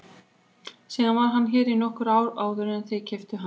Síðan var hann hér í nokkur ár áður en þið keyptuð hann.